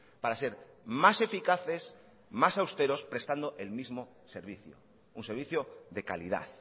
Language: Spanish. para ser más eficaces más austeros prestando el mismo servicio un servicio de calidad